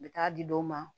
N bɛ taa di dɔw ma